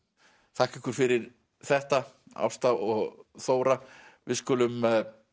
þakka ykkur fyrir þetta Ásta og Þóra við skulum